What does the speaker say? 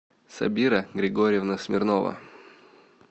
сабира григорьевна смирнова